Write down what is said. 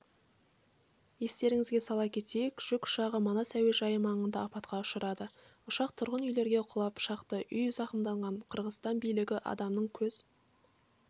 естеріңізге сала кетейік жүк ұшағы манас әуежайы маңында апатқа ұшырады ұшақ тұрғын үйлерге құлап шақты үй зақымданған қырғызстан билігі адамның көз